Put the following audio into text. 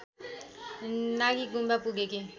Nagi Gompa पुगेकी